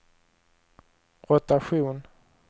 rotation